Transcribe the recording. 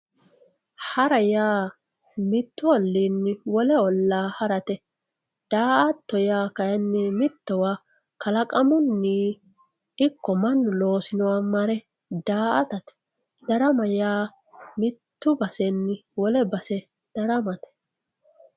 hara yaa mittu olliini wole ollaa harate da"atto yaa kayiinni mittowa kalaqamunni ikko mannu loosinoha marre da"atate darama yaa mitte basenni wole base daramate